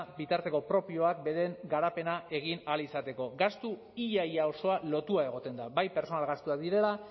bitarteko propioak beren garapena egin ahal izateko gastu ia ia osoa lotua egoten da bai pertsonal gastuak direla